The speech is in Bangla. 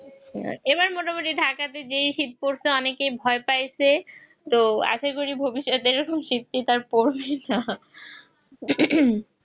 এবার মোটামুটি ঢাকাতে যে শীতকালটা অনেক ভয় পাইছে তো আশা করি ভবিষ্যতে সিটটা কমবে না